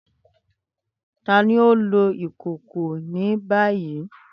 Tani o nlo ìkòkò ni bayi?